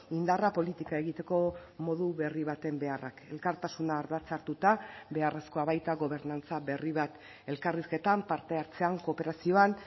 indarra politika egiteko modu berri baten beharrak elkartasuna ardatz hartuta beharrezkoa baita gobernantza berri bat elkarrizketan parte hartzean kooperazioan